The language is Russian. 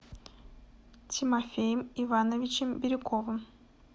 тимофеем ивановичем бирюковым